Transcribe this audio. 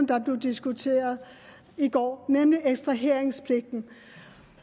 der blev diskuteret i går rigtig nemlig ekstraheringspligten